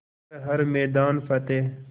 कर हर मैदान फ़तेह